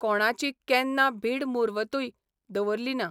कोणाची केन्ना भीडमुर्वतूय दवरली ना.